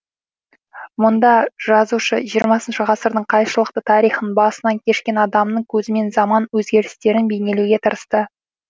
мұнда жазушы жиырмасыншы ғасырдың қайшылықты тарихын басынан кешкен адамның көзімен заман өзгерістерін бейнелеуге тырысты